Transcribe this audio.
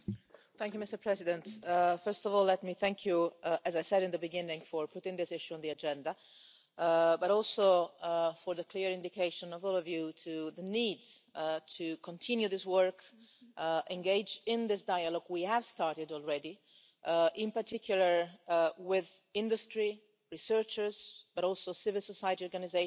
Mr President, first of all let me thank you, as I said at the beginning, for putting this issue on the agenda, but also for the clear indication of all of you to the need to continue this work and to engage in this dialogue we have started already, in particular with industry and researchers, but also civil society organisations,